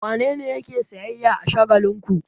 Wane ne yake sayyayya a shagon Shagalinku?